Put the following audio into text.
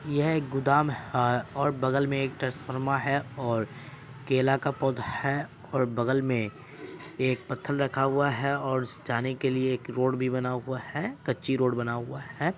यह एक गोदाम हैंऔर बगल मे एक ट्रांसफॉर्मर हैं और केला का पोधा हैं और बगल मे एक पथ्थल रखा हुआ हैंऔर उस जाने के लिए एक रोड भी बना हुआ हैं कच्ची रोड बना हुआ हैं।